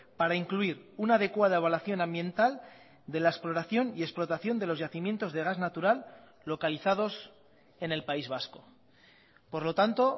para incluir una adecuada evaluación ambiental de la exploración y explotación de los yacimientos de gas natural localizados en el país vasco por lo tanto